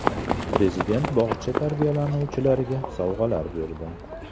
Prezident bog‘cha tarbiyalanuvchilariga sovg‘alar berdi.